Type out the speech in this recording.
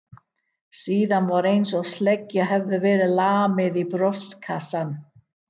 Síðan var einsog sleggju hefði verið lamið í brjóstkassann.